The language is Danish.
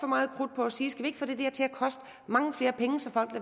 meget krudt på at sige til at koste mange flere penge så folk